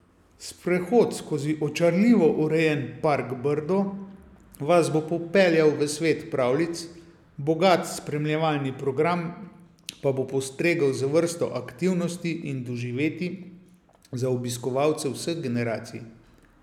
Sprehod skozi očarljivo urejen Park Brdo vas bo popeljal v svet pravljic, bogat spremljevalni program pa bo postregel z vrsto aktivnosti in doživetij za obiskovalce vseh generacij.